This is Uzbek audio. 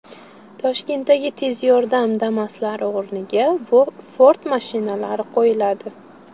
Toshkentdagi tez yordam Damas’lari o‘rniga Ford mashinalari qo‘yiladi.